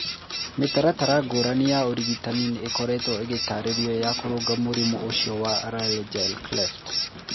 Mĩtaratara ngũrani ya ũrigitani nĩ ĩkoretwo ĩgĩtaarĩrio ya kũrũnga mũrimũ ũcio wa laryngeal cleft..